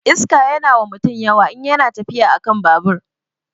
Iska yana wa mutum yawa in yana tafiya akan babur